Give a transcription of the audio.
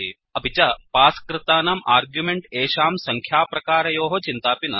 अपि च पास् कृतानां आर्ग्युमेण्ट् एषां सङ्ख्याप्रकारयोः चिन्तापि नास्ति